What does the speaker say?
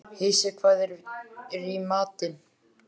Heisi, hvað er í matinn?